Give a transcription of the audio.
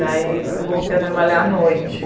Daí eu voltei a trabalhar à noite.